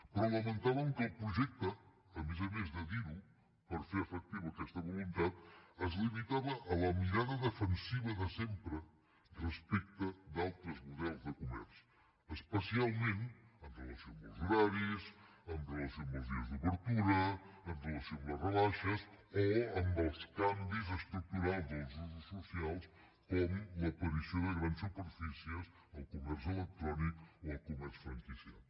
però lamentàvem que el projecte a més a més de dir ho per fer efectiva aquesta voluntat es limitava a la mirada defensiva de sempre respecte a d’altres models de comerç especialment amb relació als horaris amb relació als dies d’obertura amb relació a les rebaixes o amb els canvis estructurals dels usos socials com l’aparició de grans superfícies el comerç electrònic o el comerç franquiciat